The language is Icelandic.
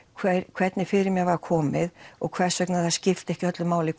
hvernig fyrir mér var komið og hvers vegna það skipti ekki öllu máli